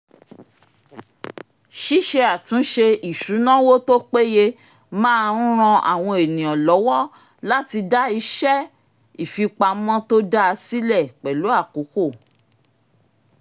ṣíṣe àtúnṣe isunawo tó péye máa ń ràn àwọn ènìyàn lọ́wọ́ láti dá ìṣe ìfipamọ́ tó dáa sílẹ̀ pẹ̀lú àkókò